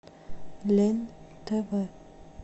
лен тв